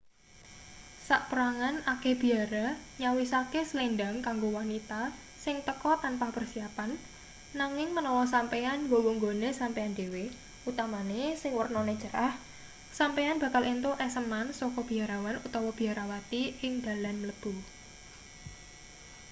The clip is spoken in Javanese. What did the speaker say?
saperangan akeh biara nyawisake slendhang kanggo wanita sing teka tanpa persiapan nanging menawa sampeyan nggawa nggone sampeyan dhewe utamane sing wernane cerah sampeyan bakal entuk eseman saka biarawan utawa biarawati ing dalan mlebu